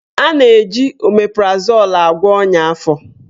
A na-eji omeprazol agwọ ọnya afọ.